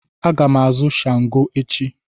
Aga m azụ shango echi.